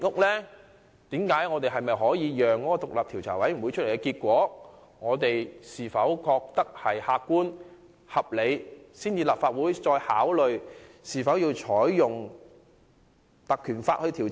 可否先等獨立調查委員會公布調查結果，視乎其結果的客觀及合理程度，才考慮應否引用《條例》進行調查？